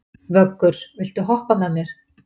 Vöggur, viltu hoppa með mér?